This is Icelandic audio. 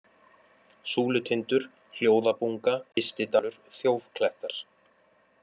Súlutindur, Hljóðabunga, Ystidalur, Þjófklettar